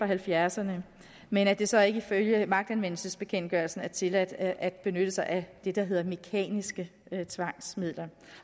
halvfjerdserne men at det så ikke ifølge magtanvendelsesbekendtgørelsen er tilladt at benytte sig af det der hedder mekaniske tvangsmidler